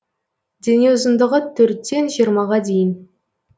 дене ұзындығы төрттен жиырмаға дейін